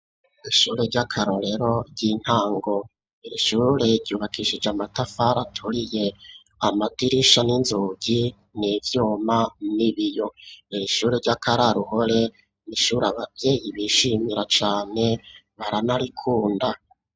ishure ryakarorero ry'intango irishure ryubakishije amatafara aturiye amadirisha n'inzugi n'ivyuma n'ibiyo iri ishure ry'akararuhore ni ishure abavyeyi bishimira cane baranarikunda.